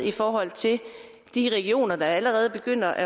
i forhold til de regioner der allerede begynder at